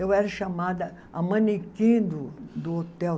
Eu era chamada a manequim do do hotel.